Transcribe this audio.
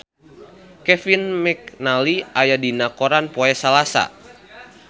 Kevin McNally aya dina koran poe Salasa